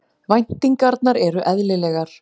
Væntingarnar eru eðlilegar